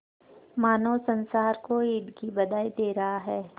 मानो संसार को ईद की बधाई दे रहा है